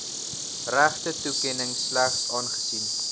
regtetoekenning slegs aangesien